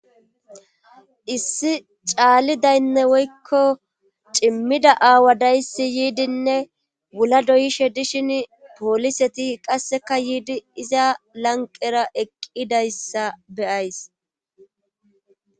issi caalidaynne woykko cimmida aawa dayssi yiidinne wula doyishe dishin pooliseti qasseka yiidi iza lanqera eqqidayssa beyays